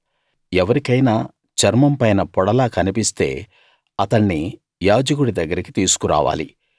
ఎవరికైనా చర్మంపైన పొడలా కన్పిస్తే అతణ్ణి యాజకుడి దగ్గరకి తీసుకురావాలి